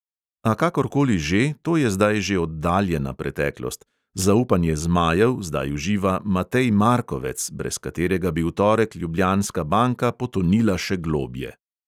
A kakor koli že, to je zdaj že oddaljena preteklost, zaupanje "zmajev" zdaj uživa matej markovec, brez katerega bi v torek ljubljanska banka potonila še globje.